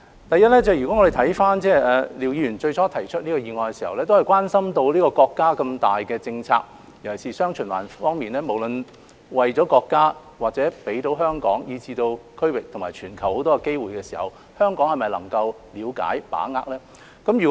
第一，廖議員最初提出議案的時候，是關心國家的大政策，尤其是"雙循環"方面，無論為國家或香港以至區域及全球提供眾多機會時，香港是否可以了解和把握？